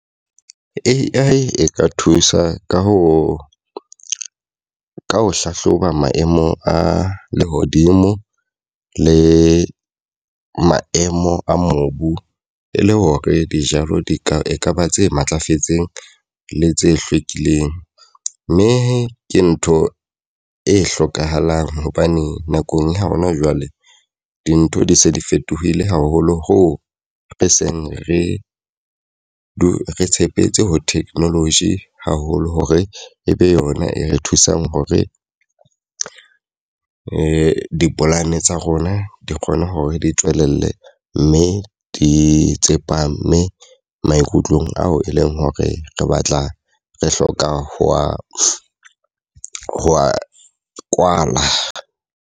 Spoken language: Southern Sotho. A_I e ka thusa ka ho ka ho hlahloba maemo a lehodimo le maemo a mobu. E le hore dijalo di ka e ka ba tse matlafetseng le tse hlwekileng. Mme ke ntho e hlokahalang hobane nakong ya hona jwale dintho di se di fetohile haholo hoo re seng re tshepetse ho technology haholo hore e be yona e re thusang hore di dipolane tsa rona di kgone hore di tswelelle. Mme di tsepame maikutlong ao e leng hore re batla re hloka ho a hwa kwala.